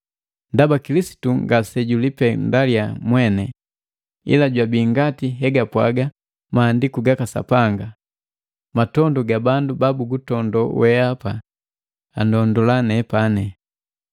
Ndaba Kilisitu ngase julipendalya mwene, ila jwabii ngati hegapwaga maandiku gaka Sapanga, “Matondu ga bandu babugutondola weapa andondola nepani.”